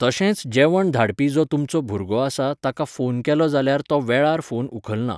तशेंच जेवण धाडपी जो तुमचो भुरगो आसा ताका फोन केलो जाल्यार तो वेळार फोन उखलना.